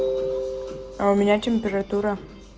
а у меня температура